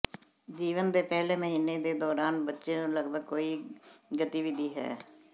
ਜੀਵਨ ਦੇ ਪਹਿਲੇ ਮਹੀਨੇ ਦੇ ਦੌਰਾਨ ਬੱਚੇ ਨੂੰ ਲਗਭਗ ਕੋਈ ਗਤੀਵਿਧੀ ਹੈ